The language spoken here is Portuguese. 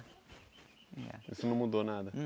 E você não mudou nada?